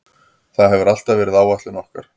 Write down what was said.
Það hefur alltaf verið áætlun okkar.